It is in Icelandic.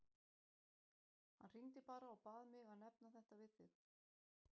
Hann hringdi bara og bað mig að nefna þetta við þig.